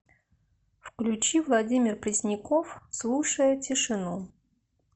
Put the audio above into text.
включи владимир пресняков слушая тишину